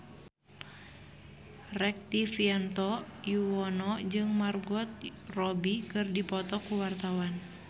Rektivianto Yoewono jeung Margot Robbie keur dipoto ku wartawan